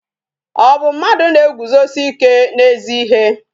Ọ bụ mmadụ na-eguzosi ike n'ezi ihe?